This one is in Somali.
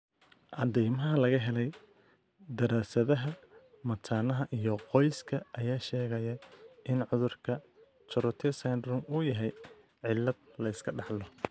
Caddaymaha laga helay daraasadaha mataanaha iyo qoyska ayaa sheegaya in cudurka Tourette syndrome uu yahay cillad la iska dhaxlo.